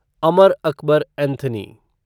Amar Akbar Anthony